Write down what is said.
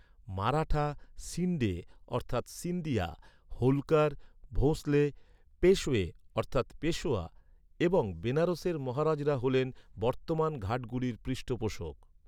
মারাঠা, শিণ্ডে অর্থাৎ সিন্ধিয়া, হোলকার, ভোঁসলে, পেশওয়ে অর্থাৎ পেশোয়া এবং বেনারসের মহারাজারা হলেন বর্তমান ঘাটগুলির পৃষ্ঠপোষক।